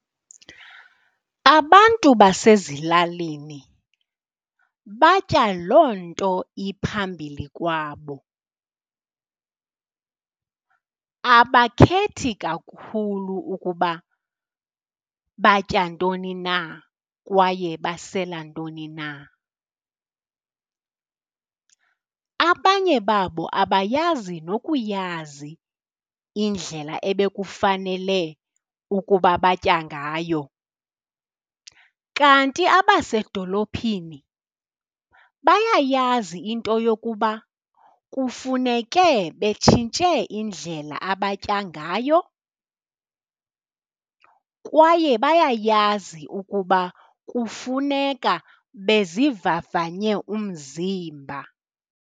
Abantu basezilalini batya loo nto iphambili kwabo, abakhethi kakhulu ukuba batya ntoni na kwaye basela ntoni na. Abanye babo abayazi nokuyazi indlela ebekufanele ukuba batya ngayo, kanti abasedolophini bayayazi into yokuba kufuneke betshintshe indlela abatya ngayo kwaye bayayazi ukuba kufuneka bezivavanye umzimba.